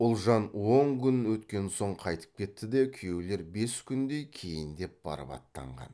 ұлжан он күн өткен соң қайтып кетті де күйеулер бес күндей кейіндеп барып аттанған